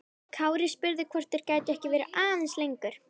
Kári spurði hvort þeir gætu ekki verið aðeins lengur.